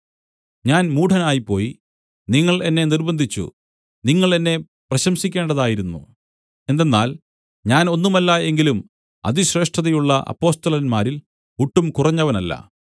ഞാൻ മൂഢനായിപ്പോയി നിങ്ങൾ എന്നെ നിർബ്ബന്ധിച്ചു നിങ്ങൾ എന്നെ പ്രശംസിക്കേണ്ടതായിരുന്നു എന്തെന്നാൽ ഞാൻ ഒന്നുമല്ല എങ്കിലും അതിശ്രേഷ്ഠതയുള്ള അപ്പൊസ്തലന്മാരിൽ ഒട്ടും കുറഞ്ഞവനല്ല